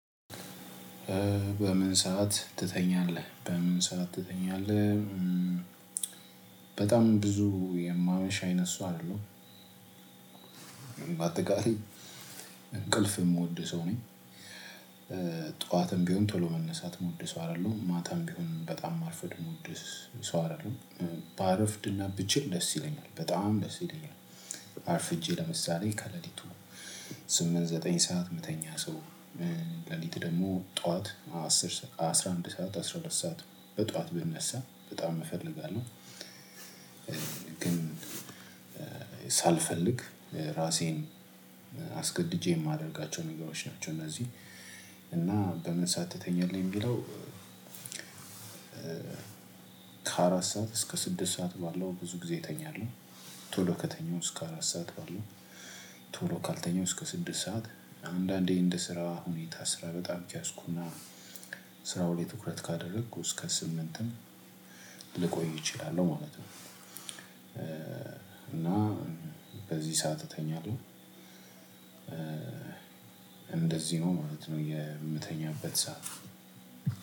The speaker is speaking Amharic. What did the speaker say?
በምን ሰዓት ትተኛለህ በምን ሰዓት ትተኛለህ? በጣም ብዙ የማመሽ አይነት ሰው አይደለውም አጠቃላይ እንቅልፍ እምወድ ሰው ነኝ። ጠዋትም ቢሆን ቶሎ መነሳት እምወድ ሰው አደለሁም ማታም ቢሆን በጣም ማርፈድ እምወድ ስ ሰው አይደለሁም። ባረፍድ እና ብችል ደስ ይለኛል በጣም ደስ ይለኛል። አርፍጄ ለምሳሌ ከሌሊቱ ስምንት ዘጠኝ ሰዓት ምተኛ ሰው። ሌሊት ደግሞ ጠዋት አስር ሰዓ አስራ አንድ ሰዓት አስራ ሁለት ሰዓት በጠዋት ብነሳ በጣም እፈልጋለሁ። ግን ሳልፈልግ ራሴን አስገድጄ እማደርጋቸው ነገሮች ናቸው። እነዚህ እና በምን ሳት ትተኛለህ ሚለው? ከአራት ሰዓት እስከ ስድስት ሰዓት ባለው ብዙ ጊዜ እተኛለሁ። ቶሎ ከተኛው እስከ አራት ሰዓት ባለው ቶሎ ካልተኛው እስከ ስድስት ሰዓት። አንዳንዴ እንደ ስራ ሁኔታ ስራ በጣም ያዝኩና ስራው ላይ ትኩረት ካደረኩ እስከ ስምንትም ልቆይ እችላለሁ ማለት ነው። እና በዚህ ሰዓት እተኛለሁ። እንደዚህ ነው ማለት ነው የምተኛበት ሰዓት።